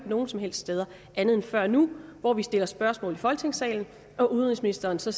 nogen som helst steder før nu hvor vi stiller spørgsmål i folketingssalen og udenrigsministeren så